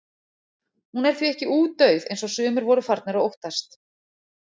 Hún er því ekki útdauð eins og sumir voru farnir að óttast.